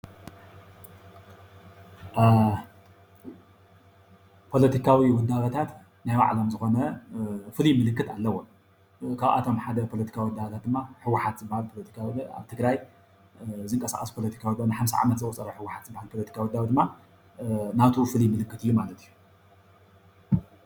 ፖለቲካዊ ውዳበታት ናይ ባዕሎም ዝኮነ ፍሉይ ምልክት ኣለዎም፡፡ ካብኣቶም ሓደ ፖለቲካ ውዳበ ድማ ህ.ወ.ሓ.ት ዝባሃል ፖለቲካዊ ኣብ ትግራይ ዝንቀሳቀሱ ፖለቲካ ንሓምሳ ዓመት ህወሓት ይባሃል፡፡ ፖለቲካዊ ውዳበ ድማ ናቱ ፍሉይ ምክት እዩ ማለት እዩ፡፡